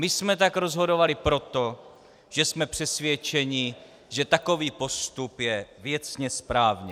My jsme tak rozhodovali proto, že jsme přesvědčeni, že takový postup je věcně správně.